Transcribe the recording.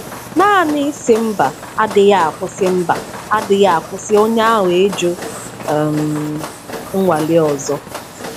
Naanị ịsị mba adịghị akwụsị mba adịghị akwụsị onye ahụ ịjụ um ịnwale ọzọ.